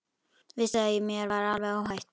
Vissi að mér var alveg óhætt.